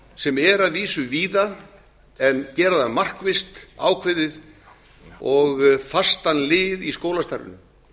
sem er að vísu víða en gera það markvisst ákveðið og fastan lið í skólastarfinu